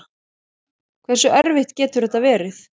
Hversu erfitt getur þetta verið?